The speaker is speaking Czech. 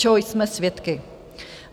Čeho jsme svědky?